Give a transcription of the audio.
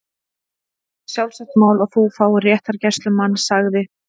Það er sjálfsagt mál að þú fáir réttargæslumann- sagði